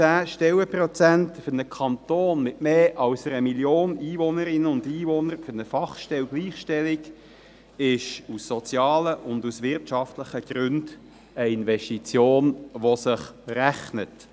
210 Stellenprozente für einen Kanton mit mehr als einer Million Einwohnerinnen und Einwohnern für eine Gleichstellungsfachstelle ist aus sozialen und wirtschaftlichen Gründen eine Investition, die sich rechnet.